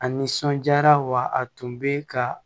A nisɔnjaara wa a tun bɛ ka